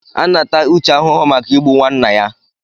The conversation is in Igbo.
A na-ata Uche ahụhụ maka Igbu nwanna ya.